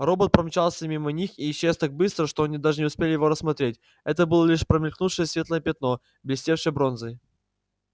робот промчался мимо них и исчез так быстро что они даже не успели его рассмотреть это было лишь промелькнувшее светлое пятно блестевшее бронзой